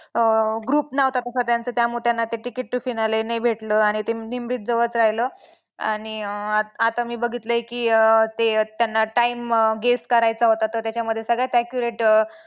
अं group नव्हता तसा त्यांचा त्यामुळे त्यांना ते ticket to finale नाही भेटलं आणि ते निमरीत जवळच राहिलं आणि अं आता मी बघितलंय की अं ते त्यांना time guess करायचा होता तर त्याच्यामध्ये सगळ्यात accurate